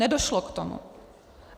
Nedošlo k tomu.